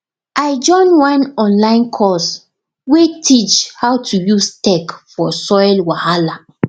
i join one online course wey teach how to use tech for soil wahala